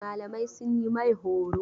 Malamai sun yi mai horo.